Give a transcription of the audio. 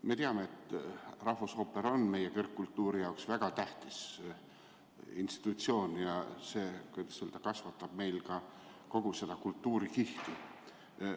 Me teame, et rahvusooper on meie kõrgkultuuri jaoks väga tähtis institutsioon, mis kasvatab meil kogu seda kultuurikihti.